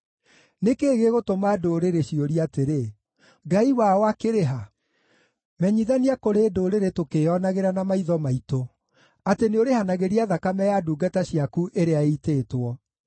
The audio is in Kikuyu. Nĩ kĩĩ gĩgũtũma ndũrĩrĩ ciũrie atĩrĩ, “Ngai wao akĩrĩ ha?” Menyithania kũrĩ ndũrĩrĩ tũkĩĩonagĩra na maitho maitũ atĩ nĩũrĩhanagĩria thakame ya ndungata ciaku ĩrĩa ĩitĩtwo.